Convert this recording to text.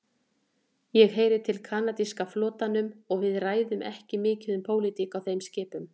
Ég heyri til kanadíska flotanum og við ræðum ekki mikið um pólitík á þeim skipum.